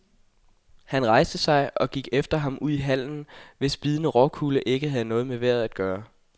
Han rejste sig og gik efter ham ud i hallen, hvis bidende råkulde ikke havde noget med vejret at gøre.